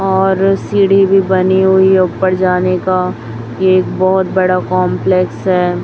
और सीढ़ी भी बनी हुई ऊपर जाने का एक बहोत बड़ा कंपलेक्स है।